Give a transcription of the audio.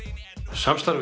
samstarfið